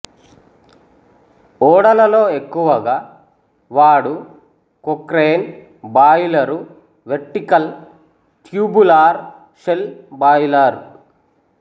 ఓడలలో ఎక్కువగా వాడు Cochran boiler vertical tubular shell boiler